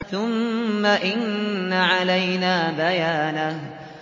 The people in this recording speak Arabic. ثُمَّ إِنَّ عَلَيْنَا بَيَانَهُ